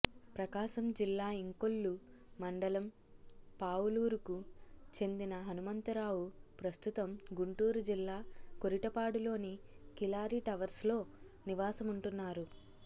ప్రకాశం జిల్లా ఇంకొల్లు మండలం పావులూరుకు చెందిన హనుమంతరావు ప్రస్తుతం గుంటూరు జిల్లా కొరిటపాడులోని కిలారి టవర్స్లో నివాసముంటున్నారు